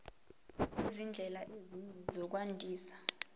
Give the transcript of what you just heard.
nezindlela ezinye zokwandisa